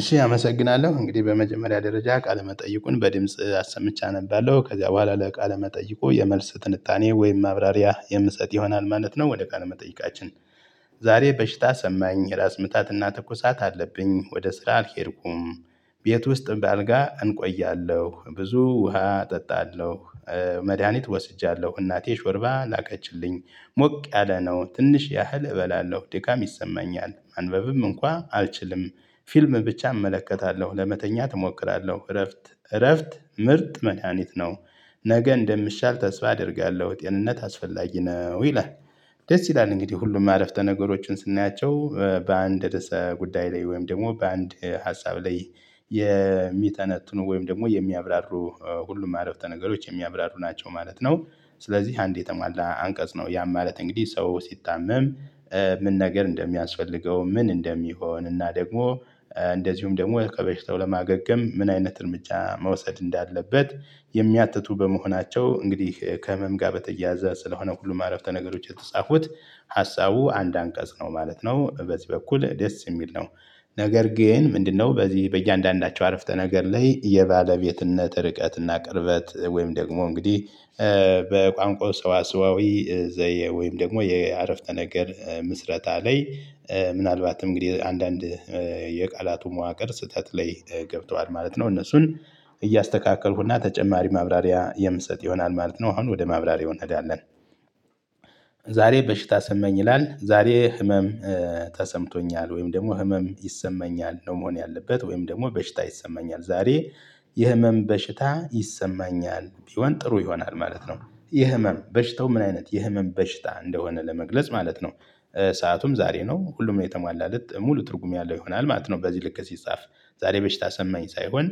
እሺ አመሰግናለሁ እንግዲህ በመጀመሪያ ደረጃ ቃለ መጠይቁን በድምጽ አሰምቼ አነባለሁ ከዚያ በኋላ ለቃለ መጠየቁ የመልስ ትንታኔ ወይም ማብራሪያ የምሰጥ ይሆናል ማለት ነው ወደ ቃል መጠይቃችን። ዛሬ በሽታ ሰማኝ የራስ ምታትና ተኩሳት አለብኝ ወደ ስራ አልሄድኩም። ቤት ውስጥ በአልጋ እንቆያለሁ ብዙ ውሃ እጠጣለሁ። መድሃኒት ወስጃለሁ እናቴ ሾርባ ላቀችልኝ ሞቅ ያለ ነው ትንሽ ያህል እበላለሁ ዲካም ይሰማኛል ማንበብም እንኳን አልችልም። ፊልም ብቻ እመለከታለሁ ለመተኛት እሞክራለሁ እረፍት እረፍት ምርጥ መዲሀኒት ነው። ነገ እንደምሻል ተስፋ አደርጋለሁ ጤንነት አስፈላጊ ነው ይላል። ደስ ይላል እንግዲህ ሁሉም አረፍተ ነገሮችን ስናያቸው በአንድ ረዕሰ ጉዳይ ላይ ወይም ደግሞ በአንድ ሀሳብ ላይ። የሚተነትኑ ወይም ደግሞ የሚያብራሩ ሁሉም አረፍተ ነገሮች የሚያብራሩ ናቸው ማለት ነው። ስለዚህ አንዴ የተሟላ አንቀጽ ነው። ያ ማለት እንግዲህ ሰው ሲታመም። ምን ነገር እንደሚያስፈልገው ምን እንደሚሆን እና ደግሞ እንደዚሁም ደግሞ ከበሽታው ለማገገም ምን አይነት እርምጃ መውሰድ እንዳለበት የሚያትቱ በመሆናቸው እንግዲህ ከህመም ጋር በተያያዘ ስለሆነ ሁሉም አረፍተ ነገሮች የተጻፉት ሀሳቡ አንድ አንቀጽ ነው ማለት ነው በዚህ በኩል ደስ የሚል ነው። ነገር ግን ምንድነው? በዚህ በእያንዳንዳቸው አረፍተ ነገር ላይ የባለቤትነት ርቀትና ቅርበት ወይም ደግሞ እንግዲህ። በቋንቋው ሰዋሰዋዊ ዘየ ወይም ደግሞ የአረፍተ ነገር ምስረታ ላይ። ምናልባትም እንግዲህ አንዳንድ የቃላቱ መዋቅር ስህተት ላይ ገብቷል ማለት ነው። እነሱን እያስተካከልኩና ተጨማሪ ማብራሪያ የምሰጥ ይሆናል ማለት ነው። አሁን ወደ ማብራሪያው እንሄዳለን። ዛሬ በሽታ ሰማኝ ይላል ዛሬ ህመም። ተሰምቶኛል ወይም ደግሞ ህመም ይሰማኛል ነው መሆን ያለበት ወይም ደግሞ በሽታ ይሰማኛል ዛሬ የህመም በሽታ ይሰማኛል ቢሆን ጥሩ ይሆናል ማለት ነው። የህመም በሽታው ምን አይነት የህመም በሽታ እንደሆነ ለመግለጽ ማለት ነው። ሰአቱም ዛሬ ነው ሁሉም የተሟላለት ሙሉ ትርጉም ያለው ይሆናል ማለት ነው በዚህ ልክ ሲጻፍ። ዛሬ በሽታ ሰማኝ ሳይሆን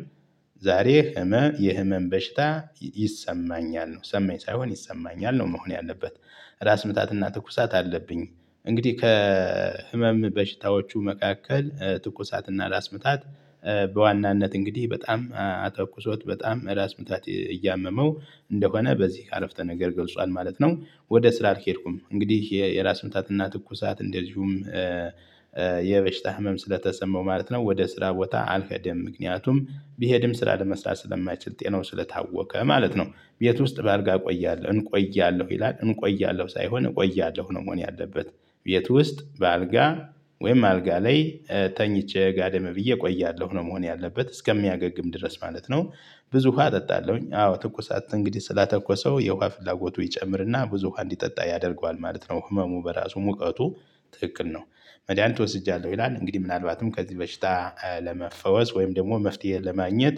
ዛሬ ህመም የህመም በሽታ። ይሰማኛል ነው ሰማኝ ሳይሆን ይሰማኛል ነው መሆን ያለበት። ራስ ምታትና ትኩሳት አለብኝ። እንግዲህ ከህመም በሽታዎቹ መካከል ትኩሳትና ራስ ምታት። በዋናነት እንግዲህ በጣም አጠቁሶት በጣም ራስ ምታት እያመመው እንደሆነ በዚህ አረፍተ ነገር ገልጿል ማለት ነው። ወደ ስራ አልኬድኩም እንግዲህ የራስ ምታትና ትኩሳት እንደዚሁም። የበሽታ ህመም ስለተሰማው ማለት ነው ወደ ስራ ቦታ አልሄደም። ምክንያቱም ቢሄድም ስራ ለመስራት ስለማይችል ጤናው ስለታወቀ ማለት ነው። ቤት ውስጥ በአልጋ እቆያለሁ እንቆያለሁ ይላል እንቆያለሁ ሳይሆን እቆያለሁ ነው መሆን ያለበት። ቤት ውስጥ በአልጋ ወይም አልጋ ላይ ተኝቼ ጋደም ብዬ እቆያለሁ ነው መሆን ያለበት እስከሚያገግም ድረስ ማለት ነው። ብዙ ውሃ እጠጣለሁኝ አዎ ትኩሳት እንግዲህ ስላተኮሰው የውሃ ፍላጎቱ ይጨምርና ብዙ ውሃ እንዲጠጣ ያደርገዋል ማለት ነው። ህመሙ በራሱ ሙቀቱ ትክክል ነው። መዲሀኒት ወስጃያለሁ ይላል። እንግዲህ ምናልባትም ከዚህ በሽታ ለመፈወስ ወይም ደግሞ መፍትሄ ለማግኘት።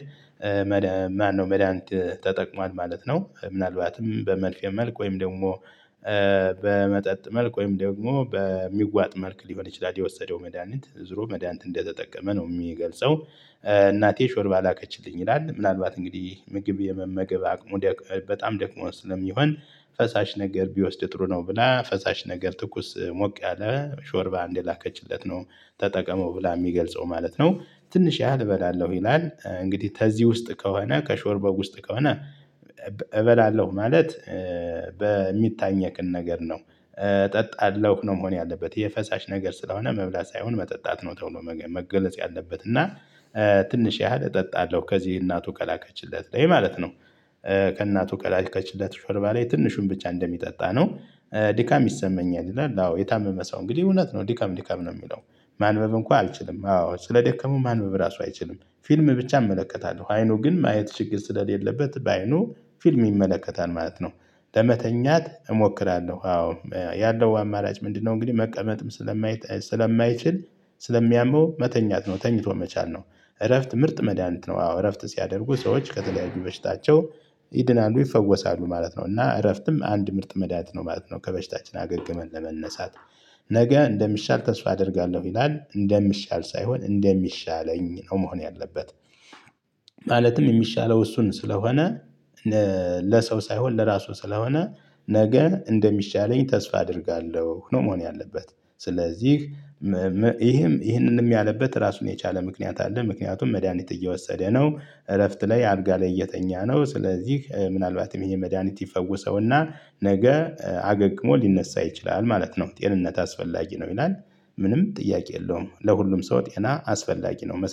ማነው መዲሀኒት ተጠቅሟል ማለት ነው። ምናልባትም በመርፌ መልክ ወይም ደግሞ። በመጠጥ መልኩ ወይም ደግሞ በሚዋጥ መልክ ሊሆን ይችላል የወሰደው መድሃኒት ዙሮ መድሃኒት እንደተጠቀመ ነው የሚገልጸው። እናቴ ሾርባ ላቀችልኝ ይላል ምናልባት እንግዲህ ምግብ የመመገብ አቅሙ በጣም ደክሞ ስለሚሆን ፈሳሽ ነገር ቢወስድ ጥሩ ነው ብላ ፈሳሽ ነገር ትኩስ ሞቅ ያለ ሾርባ እንደላከችለት ነው። ተጠቀመው ብላ የሚገልጸው ማለት ነው። ትንሽ ያህል እበላለሁ ይላል እንግዲህ ተዚህ ውስጥ ከሆነ ከሾርባው ውስጥ ከሆነ። እበላለሁ ማለት በሚታይኘክ ነገር ነው። እጠጣለሁ ነው መሆን ያለበት የፈሳሽ ነገር ስለሆነ መብላት ሳይሆን መጠጣት ነው ተብሎ መገለጽ ያለበት እና። ትንሽ ያህል እጠጣለሁ ከዚህ እናቱ ከላከችለት ላይ ማለት ነው። ከእናቱ ከላከችለት ሽርባ ላይ ትንሹን ብቻ እንደሚጠጣ ነው። ድካም ይሰማኛል ይላል አዎ የታመመ ሰው እንግዲህ እውነት ነው ድካም ድካም ነው የሚለው። ማንበብ እንኳን አልችልም አዎ ስለደከመው ማንበብ ራሱ አይችልም ፊልም ብቻ እመለከታለሁ አይኑ ግን ማየት ችግር ስለሌለበት በአይኑ ፊልም ይመለከታል ማለት ነው። ለመተኛት እሞክራለሁ አዎ ያለው አማራጭ ምንድነው? እንግዲህ መቀመጥም ስለማይችል ስለሚያመው መተኛት ነው። ተኝቶ መቻል ነው። እረፍት ምርጥ መድሃኒት ነው አዎ እረፍት ሲያደርጉ ሰዎች ከተለያዩ በሽታቸው ይድናሉ ይፈወሳሉ ማለት ነው። እና እረፍትም አንድ ምርጥ መድሃኒት ነው ማለት ነው። ከበሽታችን አገግመን ለመነሳት። ነገ እንደሚሻል ተስፋ አደርጋለሁ ይላል። እንደሚሻል ሳይሆን እንደሚሻለኝ ነው መሆን ያለበት። ማለትም የሚሻለው እሱን ስለሆነ ለሰው ሳይሆን ለራሱ ስለሆነ ነገ እንደሚሻለኝ ተስፋ አደርጋለሁ ነው መሆን ያለበት። ስለዚህ ይህም ይህንንም ያለበት ራሱን የቻለ ምክንያት አለ። ምክንያቱም መድሃኒት እየወሰደ ነው እረፍት ላይ አልጋ ላይ እየተኛ ነው ስለዚህ ምናልባትም ይሄን መድሃኒት ይፈውሰውና ነገ አገግሞ ሊነሳ ይችላል ማለት ነው። ጤንነት አስፈላጊ ነው ይላል። ምንም ጥያቄ የለውም ለሁሉም ሰው ጤና አስፈላጊ ነው መሰለኝ